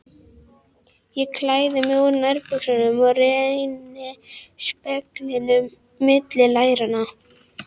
Ég klæði mig úr nærbuxunum og renni speglinum milli læranna.